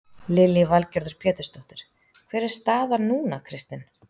Lillý Valgerður Pétursdóttir: Hver er staðan núna Kristinn?